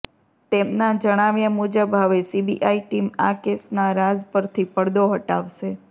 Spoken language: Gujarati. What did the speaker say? તેમના જણાવ્યા મુજબ હવે સીબીઆઈ ટીમ આ કેસના રાઝ પરથી પડદો હટાવશે